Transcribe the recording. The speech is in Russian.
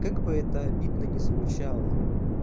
как бы это обидно не звучало